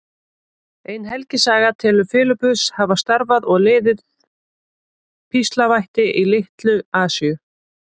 Ein helgisaga telur Filippus hafa starfað og liðið píslarvætti í Litlu-Asíu.